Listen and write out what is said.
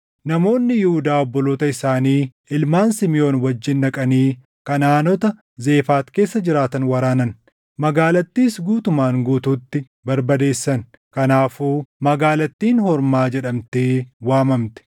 Namoonni Yihuudaa obboloota isaanii ilmaan Simiʼoon wajjin dhaqanii Kanaʼaanota Zefaati keessa jiraatan waraanan; magaalattiis guutumaan guutuutti barbadeessan. Kanaafuu magaalattiin Hormaa jedhamtee waamamte.